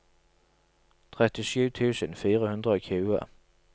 trettisju tusen fire hundre og tjue